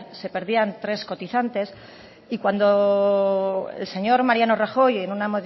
se perdían tres cotizantes y cuando el señor mariano rajoy en una